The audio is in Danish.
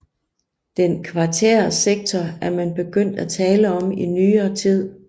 Den kvartære sektor er man begyndt at tale om i nyere tid